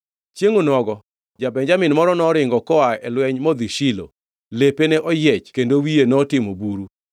Chiengʼ onogo ja-Benjamin moro noringo koa e lweny modhi Shilo, lepe ne oyiech kendo wiye notimo buru.